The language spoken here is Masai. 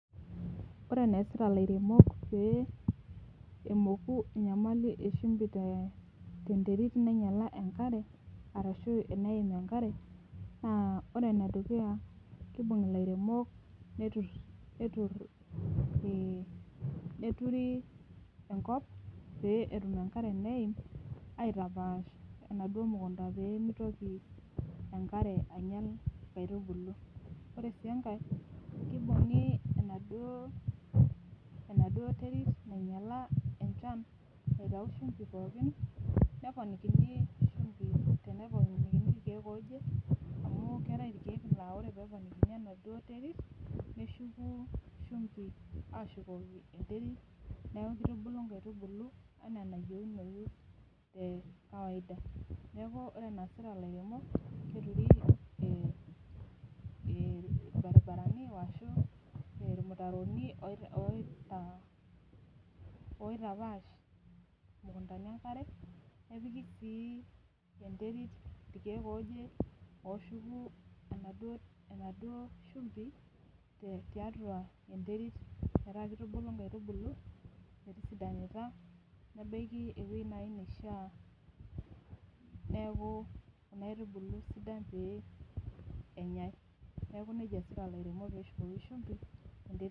Ore eneesita ilairemok pee emoku enyamali e shumbi te tenterit nainyala enkare arashu eneim enkare naa ore ene dukuya kiibung' ilairemok netur netur ii neturi enkop pee etum enkare eneim aitapaash enaduo mukunda pee mitoki enkare ainyal inkaitubulu. Ore sii enkae, kibung'i enaduo enaduo terit nainyala enchan aitau shumbi pookin neponikini shumbi teneponikini irkeek looje amu keetai irkeek naa ore teneponikini enaduo terit neshuku shumbi aashukoki enterit, neeku itubulu nkaitubulu enaa enayeunoyu te kawaida. Neeku ore enaasita ilairemok keturi ee ee irbaribarani wo ashu irmutaroni oo oita oitapaash imukundani enkare, nepiki sii enterit irkeek ooje ooshuku enaduo enaduo shumbi te tiatua enterit metaa ketubulu inkatibulu metisidanita nebaiki ewuei nai naishaa neeku kuna aitubulu sidan pee enyai. Neeku neija eesita ilairemok pee eshukoki shumbi enterit.